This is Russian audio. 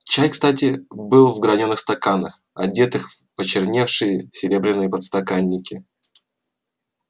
чай кстати был в гранёных стаканах одетых в почерневшие серебряные подстаканники